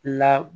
La